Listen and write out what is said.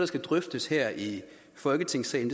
skal drøftes her i folketingssalen